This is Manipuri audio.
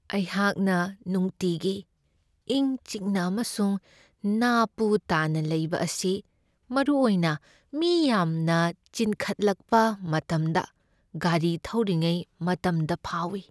ꯑꯩꯍꯥꯛꯅ ꯅꯨꯡꯇꯤꯒꯤ ꯏꯪ ꯆꯤꯛꯅ ꯑꯃꯁꯨꯡ ꯅꯥ ꯄꯨ ꯇꯥꯅ ꯂꯩꯕ ꯑꯁꯤ ꯃꯔꯨꯑꯣꯏꯅ ꯃꯤ ꯌꯥꯝꯅ ꯆꯤꯟꯈꯠꯂꯛꯄ ꯃꯇꯝꯗ ꯒꯥꯔꯤ ꯊꯧꯔꯤꯉꯩ ꯃꯇꯝꯗ ꯐꯥꯎꯢ꯫